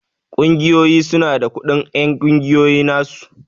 Ƙungiyoyi su na da kudin en ƙungiya na su.